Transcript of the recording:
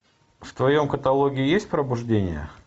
в твоем каталоге есть пробуждение